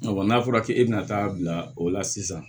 n'a fɔra k'e bɛna taa bila o la sisan